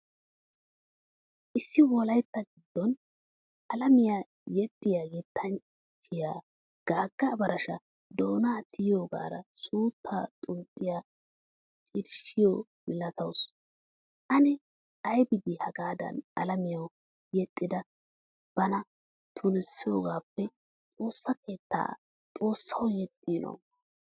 Issi wolaytta giddon alamiyawu yexiyaa yettanchchiyo gaga abarasha doonaa tiyogaara suutta xunxxiya cirashiyo milatawusu. Anne aybidi hagadan alamiyawu yexxayda bana tunisiyogappe xoossaa keettan xoossawu yeexino?